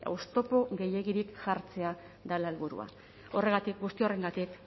oztopo gehiegirik jartzea dela helburua horregatik guzti horrengatik